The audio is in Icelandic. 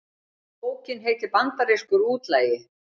Bókin heitir Bandarískur útlagi